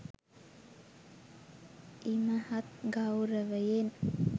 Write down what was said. ඉමහත් ගෞරවයෙන්